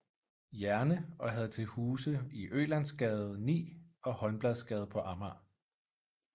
Jerne og havde til huse i Ølandsgade 9 og Holmbladsgade på Amager